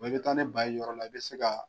i bɛ taa ni ba ye yɔrɔ la i bɛ se ka